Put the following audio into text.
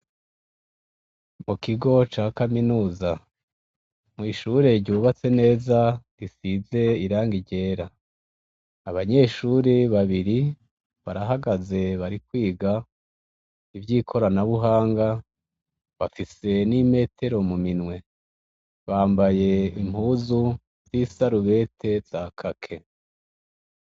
Mu kigo ca kaminuza mw’ishure ryubatse neza risize irangi ryera. Abanyeshure babiri barahagaze bari kwiga ivy'ikoranabuhanga bafise n'imetero mu minwe bambaye impuzu z'isarubete za kaki.